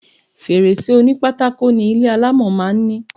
Fèrèsé onípákó ni ilé alámọ̀ máa ń ní.